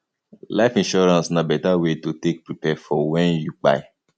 life insurance na better wey to take prepare for when you kpai